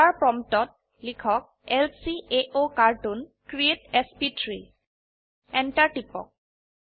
dollar প্ৰম্পটত লিখক ল্কাওকাৰ্টুন ক্ৰিএট এছপি3 Enter টিপক